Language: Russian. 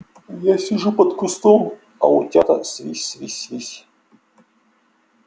я сижу под кустом а утята свись свись свись